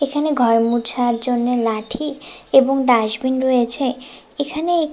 এখানে ঘর মুছার জন্যে লাঠি এবং ডাসবিন রয়েছে এখানে এক --